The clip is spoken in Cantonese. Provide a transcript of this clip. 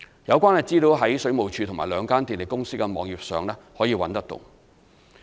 有關資料可在水務署及兩間電力公司的網頁上找到。